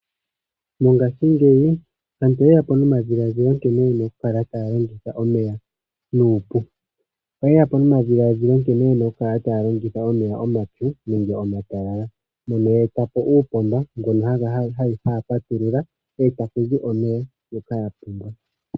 Mongaashingeyi aantu oye yapo nomadhiladhilo nkene yena okukala taya longitha omeya nuupu oye yapo nomadhiladhilo nkene yena okukala taya longitha omeya omapyu nenge omatalala mono ye etapo uupomba mbono haya patulula e ta kuzi omeya ngoka ya pumbwa.